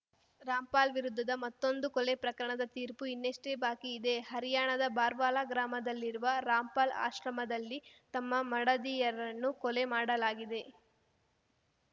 ರಾಮ್‌ಪಾಲ್‌ ವಿರುದ್ಧದ ಮತ್ತೊಂದು ಕೊಲೆ ಪ್ರಕರಣದ ತೀರ್ಪು ಇನ್ನಷ್ಟೇ ಬಾಕಿಯಿದೆ ಹರ್ಯಾಣದ ಬರ್ವಾಲಾ ಗ್ರಾಮದಲ್ಲಿರುವ ರಾಮ್‌ಪಾಲ್‌ ಆಶ್ರಮದಲ್ಲಿ ತಮ್ಮ ಮಡದಿಯರನ್ನು ಕೊಲೆ ಮಾಡಲಾಗಿದೆ